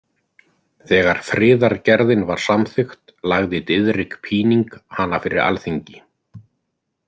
Þegar friðargerðin var samþykkt lagði Diðrik Píning hana fyrir Alþingi.